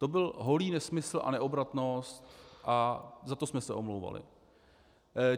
To byl holý nesmysl a neobratnost a za to jsme se omlouvali.